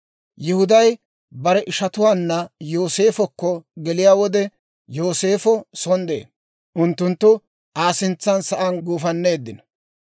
Yihuday bare ishatuwaanna Yooseefokko geliyaa wode, Yooseefo son de'ee; unttunttu Aa sintsan sa'aan guufanneeddino.